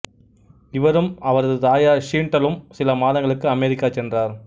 இவரும் அவரது தாயார் ஷீண்டலும் சில மாதங்களுக்குப் அமெரிக்கா சென்றனர்